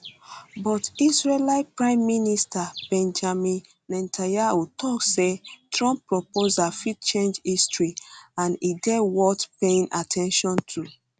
but israeli prime minister benjamin netanyahu tok say trump proposal fit change history and e dey worth paying at ten tion to